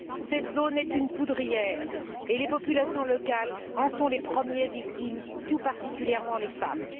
Cette zone est une poudrière et les populations locales en sont les premières victimes, tout particulièrement les femmes.